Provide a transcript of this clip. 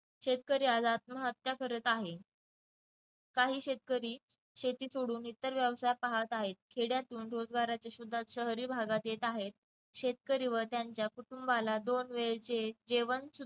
शेतकरी आज आत्महत्या करत आहे काही शेतकरी शेती सोडून इतर व्यवसाय पाहत आहेत खेड्यातून सुद्धा शहरी भागात येत आहेत शेतकरी व त्यांच्या कुटुंबाला दोन वेळचे जेवण